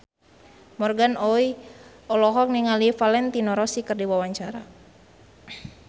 Morgan Oey olohok ningali Valentino Rossi keur diwawancara